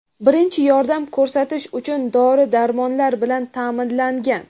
birinchi yordam ko‘rsatish uchun dori-darmonlar bilan ta’minlangan.